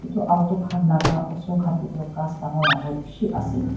etu auto khan laga osor khan dae tuh ghas dangor dangor beshi ase.